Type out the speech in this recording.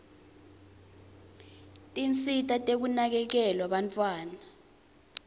tinsita tekuvikela bantfwana